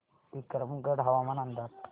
विक्रमगड हवामान अंदाज